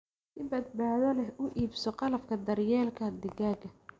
Si badbaado leh u iibso qalabka daryeelka digaagga.